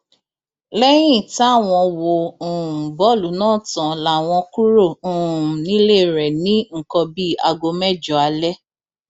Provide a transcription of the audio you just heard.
lẹyìn táwọn wo um bọọlù náà tán láwọn kúrò um nílé rẹ ní nǹkan bíi aago mẹjọ alẹ